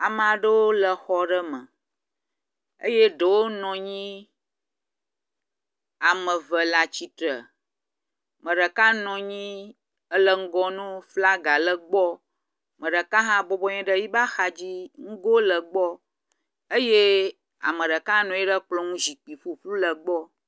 Ame aɖewo le xɔ aɖe me eye ɖewo nɔ anyi. Ame eve le atsite. Ame ɖeka nɔ anyi ele ŋgɔ na wo flaga le egbɔ. Me ɖeka hã bɔbɔnɔ anyi ɖe yi be axa dzi nugo le egbɔ eye ame ɖeka nɔ anyi ɖe kplɔ nu zikpui ƒuƒlu le egbɔ.